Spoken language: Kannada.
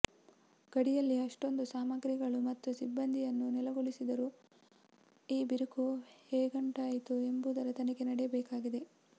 ಗಡಿಯಲ್ಲಿ ಅಷ್ಟೊಂದು ಸಾಮಗ್ರಿಗಳು ಮತ್ತು ಸಿಬ್ಬಂದಿಯನ್ನು ನೆಲೆಗೊಳಿಸಿದರೂ ಈ ಬಿರುಕು ಹೇಗುಂಟಾಯಿತು ಎಂಬುದರ ತನಿಖೆ ನಡೆಯಬೇಕಾಗಿದೆ